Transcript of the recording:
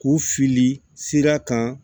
K'u fili sira kan